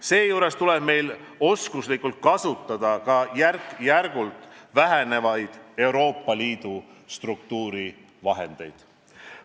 Seejuures tuleb meil oskuslikult kasutada ka järk-järgult vähenevaid Euroopa Liidu struktuurivahendeid.